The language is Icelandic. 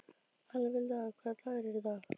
Alvilda, hvaða dagur er í dag?